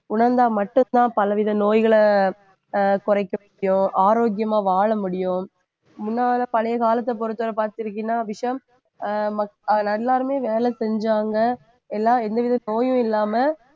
உணர்ந்தா மட்டும்தான் பலவித நோய்களை அஹ் குறைக்க முடியும், ஆரோக்கியமா வாழ முடியும். முன்னால பழைய காலத்தைப் பொறுத்தவரை பார்த்திருக்கீன்னா அஹ் அஹ் எல்லாருமே வேலை செஞ்சாங்க எல்லாம் எந்த வித நோயும் இல்லாம